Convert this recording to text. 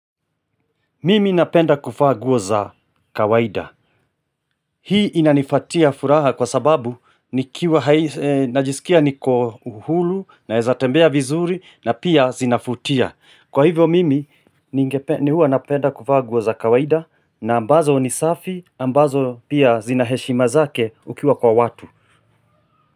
Mimi napenda kuvaa nguo za kawaida Hii inanifatia furaha kwa sababu najisikia niko uhuru naeza tembea vizuri na pia zinavutia Kwa hivyo mimi huwa napenda kuvaa nguo za kawaida na ambazo ni safi ambazo pia zinaheshima zake ukiwa kwa watu.